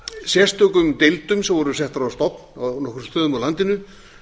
sérstökum deildum sem voru settar á stofn á nokkrum stöðum á landinu